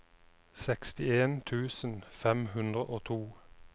sekstien tusen fem hundre og to